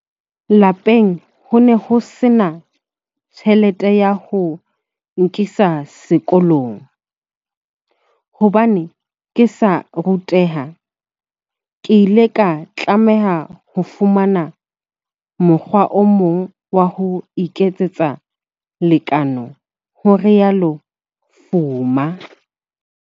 "Lapeng ho ne ho sena tjhelete ya ho nkisa sekolong. Hobane ke sa ruteha, ke ile ka tlameha ho fumana mokgwa o mong wa ho iketsetsa lekeno," ho rialo Fuma.